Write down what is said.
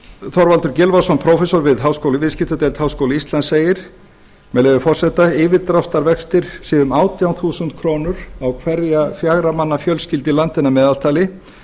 þorvaldur gylfason prófessor við viðskiptadeild háskóla íslands segir með leyfi forseta að yfirdráttarvextir séu um átján þúsund krónur á hverja fjögra manna fjölskyldu í landinu að meðaltali